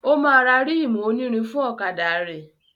O máa ra ríìmù onírin fún ọ̀kadà rẹ̀.